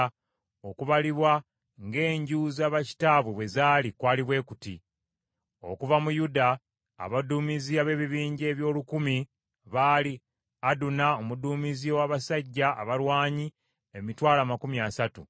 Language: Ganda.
Okubalibwa ng’enju za bakitaabwe bwe zaali kwali bwe kuti: Okuva mu Yuda, abaduumizi ab’ebibinja eby’olukumi (1,000) baali: Aduna omuduumizi ow’abasajja abalwanyi emitwalo amakumi asatu (300,000),